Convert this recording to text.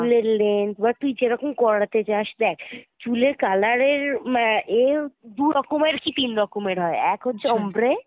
চুলের length বা তুই যেরকম করাতে চাস দেখ চুলের color এর আহ এর দুরকমের কি তিন রকম এর হয় এক হচ্ছে ombre,